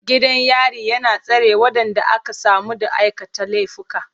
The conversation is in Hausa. Gidan yari na tsare waɗanda aka samu da aikata laifuka.